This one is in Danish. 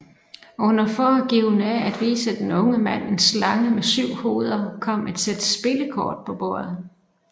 Under foregivende af at vise den unge mand en slange med syv hoveder kom et sæt spillekort på bordet